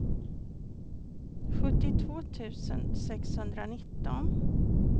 sjuttiotvå tusen sexhundranitton